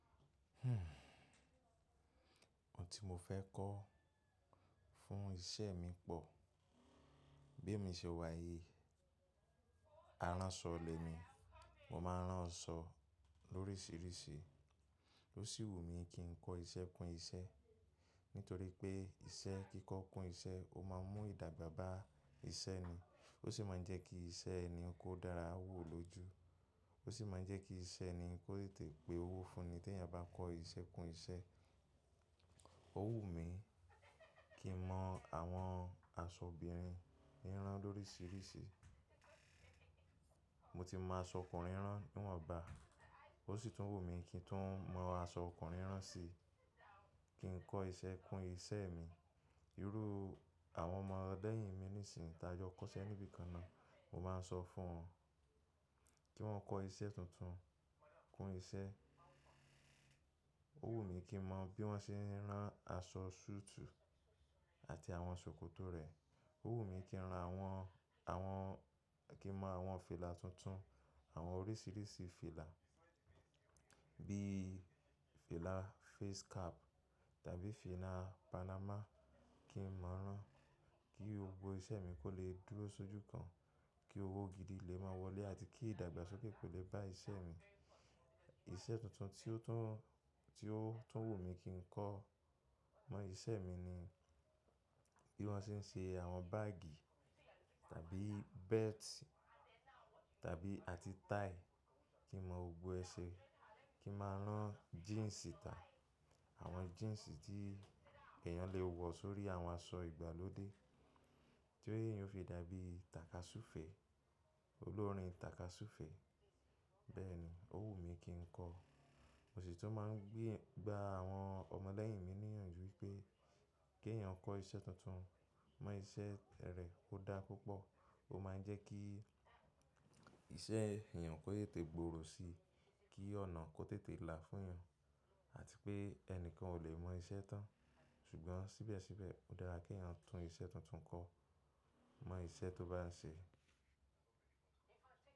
Ohun tí mo fẹ́ kọ́ fún iṣẹ́ mi pọ̀. Bí mi ṣe wà yìí, aránṣọ lẹ mi. Mo máa ń rán aṣọ lóríṣiríṣi. Ó sì wù mí kí n kọ́ iṣẹ́ kun iṣẹ́. Nítorí pé iṣẹ́ kíkọ́ kun iṣẹ́, ó máa ń mú ìdàgbà bá iṣẹ́ ni. Ó sì máa ń jẹ́ kí iṣẹ́ ẹni kó dára wò lójú. Ó sì máa ń jẹ́ kí iṣẹ́ ẹni kó tètè pe owó fún ni. Tí èèyàn bá kọ́ iṣẹ́ kun iṣẹ́. Ó wù mí kí n mọ àwọn aṣọ obìnrin ran lóríṣiríṣi. Mo ti mọ aṣọ ọkùnrin rán níwọ̀nba. Ó sì tún wù mí kí n tún mọ aṣọ ọkùnrin rán sì. Kí n kọ́ iṣẹ́ kun iṣẹ́ mi. Irú àwọn ọmọ lẹ́yìn mi nísìnyí tí a jọ kọ́ṣẹ́ níbí kan náà, mo máa ń sọ fún wọn kí wọ́n kọ iṣẹ́ tuntun kun iṣẹ́. Ó wù mí kí n mọ bí wọ́n ṣe ń rán aṣọ suit àti àwọn ṣòkòtò rẹ̀. Ó wù mí kí n mọ àwọn fìlà tuntun, àwọn oríṣiríṣi fìlà. Bí fìlà face cap tàbí fìlà panama kí n mọ rán. Kí gbogbo iṣẹ́ mi kó lè dúró sójú kan. Kí owó gidi lè máa wọlé àti kí ìdàgbàsókè kó lè bá iṣẹ́ mi. Iṣẹ́ tuntun tí ó tún, tí ó tún wù mí kí n kọ mọ́ iṣẹ́ mi ni bí wọ́n ṣe ń ṣe àwọn báágì tàbí belt tàbí àti tie. Kí n mọ gbogbo ẹ ṣe. Kí n máa rán jíǹsì tà. Àwọn jíǹsì tí èèyàn lè wọ̀ sórí àwọn aṣọ ìgbàlódé. Tí eyan ò fi dàbí tàkasúfẹ̀ẹ́, olórin tàkasúfẹ̀ẹ́. Bẹ́ẹ̀ ni, ó wù mí kí n kọ. Mo sì tún máa ń gba àwọn ọmọ lẹ́yìn mi níyànjú, wípé kí èèyàn kọ́ iṣẹ́ tuntun, mọ́ iṣẹ́ rẹ̀ ó dá púpọ̀. Ó máa ń jẹ́ kí iṣẹ́ èèyàn kó tètè gbòòrò si. Kí ọ̀nà kó tètè là fún eyan. Àti pé ẹnikẹ́ni ò lè mọ iṣẹ́ tán. Ṣùgbọ́n síbẹ̀síbẹ̀ ó dára kí èèyàn tún iṣẹ́ tuntun kọ, mọ́ iṣẹ́ tó bá ń ṣe.